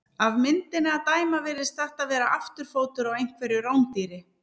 Af myndinni að dæma virðist þetta vera afturfótur á einhverju rándýri.